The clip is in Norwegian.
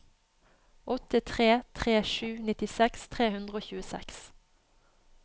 åtte tre tre sju nittiseks tre hundre og tjueseks